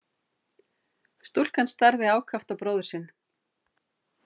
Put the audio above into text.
Stúlkan starði ákaft á bróður sinn.